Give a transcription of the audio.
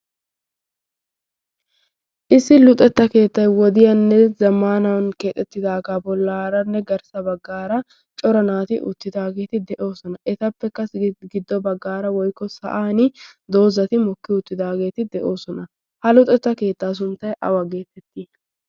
issi luxetta keettai wodiyaanne zamaanan keexettidaagaa bollaaranne garssa baggaara cora naati uttidaageeti de'oosona. etappekkassi giddo baggaara woikko sa'an doozati mokki uuttidaageeti de'oosona. ha luxetta keettaa sunttai awa geetetti?